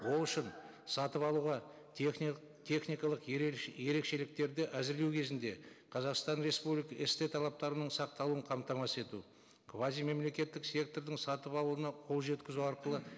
ол үшін сатып алуға техникалық ерекшеліктерді әзірлеу кезінде қазақстан республика істі талаптарының сақталуын қамтамасыз ету квазимемлекеттік сектордың сатып алуына қол жеткізу арқылы